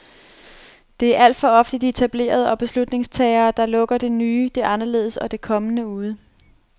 Det er alt for ofte de etablerede og beslutningstagere, der lukker det nye, det anderledes og det kommende ude.